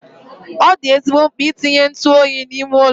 Ọ dị ezigbo mkpa itinye ntụ oyi n'ime ụlọ.